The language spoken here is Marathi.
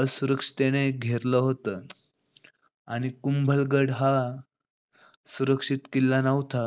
असुरक्षिततेने घेरलं होतं. आणि कुंभलगड हा सुरक्षित किल्ला नव्हता.